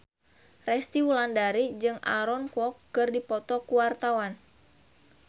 Resty Wulandari jeung Aaron Kwok keur dipoto ku wartawan